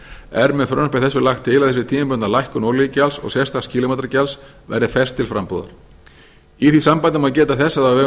er með frumvarpi þessu lagt til að þessi tímabundna lækkun olíugjalds og sérstaks kílómetragjalds verði fest til frambúðar í því sambandi má geta þess að á vegum